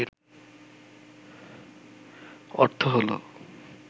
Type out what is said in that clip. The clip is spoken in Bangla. অর্থ হল